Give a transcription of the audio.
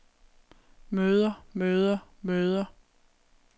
møder møder møder